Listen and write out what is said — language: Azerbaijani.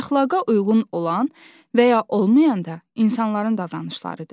Əxlaqa uyğun olan və ya olmayanda insanların davranışlarıdır.